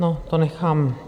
No, to nechám.